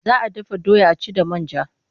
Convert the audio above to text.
Za a dafa doya a ci da man ja.